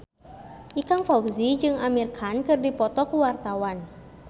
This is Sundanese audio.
Ikang Fawzi jeung Amir Khan keur dipoto ku wartawan